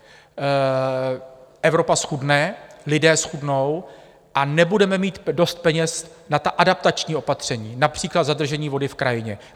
Evropa zchudne, lidé zchudnou a nebudeme mít dost peněz na ta adaptační opatření, například zadržení vody v krajině.